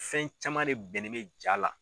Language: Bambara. Fɛn caman de bɛnnen bɛ jaa la.